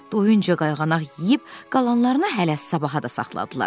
Doyunca qayğanaq yeyib qalanlarını hələ sabaha da saxladılar.